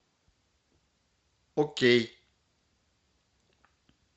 окей